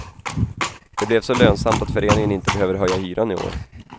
Det blev så lönsamt att föreningen inte behöver höja hyran i år.